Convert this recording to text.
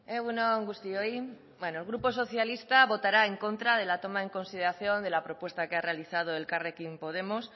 egun on guztioi bueno el grupo socialista votará en contra de la toma en consideración de la propuesta que ha realizado elkarrekin podemos